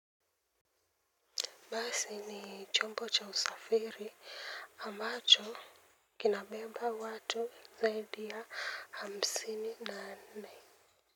Basi ni chombo cha usafiri ambacho kinabeba watu zaidi ya hamsini na nne.